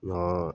N'an